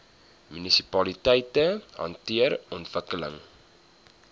munisipaliteite hanteer ontwikkeling